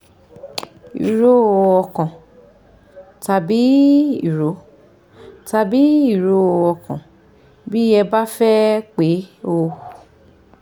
ìró ọkàn tàbí ìró tàbí ìró ọkàn bí ẹ bá fẹ́ pe ó